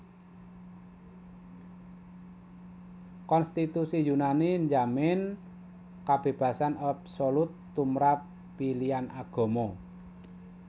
Konstitusi Yunani njamin kabébasan absolut tumrap pilihan agama